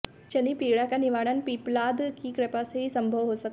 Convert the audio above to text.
शनि पीड़ा का निवारण पिप्पलाद की कृपा से ही संभव हो सका